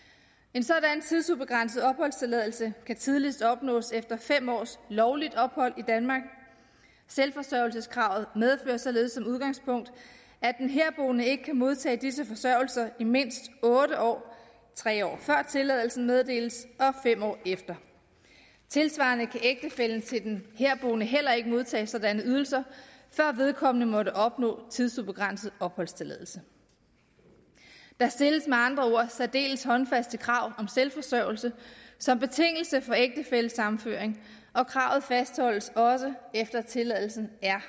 en sådan tidsubegrænset opholdstilladelse kan tidligst opnås efter fem års lovligt ophold i danmark selvforsørgelseskravet medfører således som udgangspunkt at den herboende ikke kan modtage disse forsørgelser i mindst otte år tre år før tilladelsen meddeles og fem år efter tilsvarende kan ægtefællen til den herboende heller ikke modtage sådanne ydelser før vedkommende måtte opnå tidsubegrænset opholdstilladelse der stilles med andre ord særdeles håndfaste krav om selvforsørgelse som betingelse for ægtefællesammenføring og kravet fastholdes også efter at tilladelsen er